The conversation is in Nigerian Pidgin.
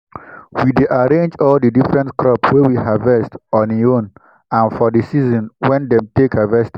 we dey arrange all di different crop wey we harvest on hin own and fo di season wen dem take harvest am.